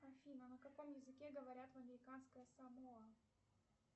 афина на каком языке говорят в американской самоа